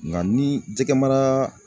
Nka ni jɛgɛ mara